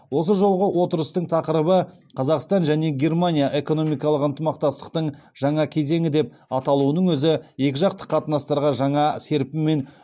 осы жолғы отырыстың тақырыбы қазақстан және германия экономикалық ынтымақтастықтың жаңа кезеңі деп аталуының өзі екіжақты қатынастарға жаңа серпін мен